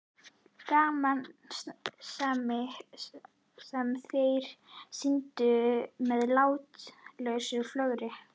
Gamansemin sem þeir sýndu með látlausu flögrinu!